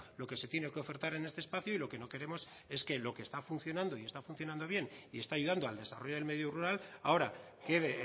lo que se tiene que ofertar en este espacio y lo que no queremos es que lo que está funcionando y está funcionando bien y está ayudando al desarrollo del medio rural ahora quede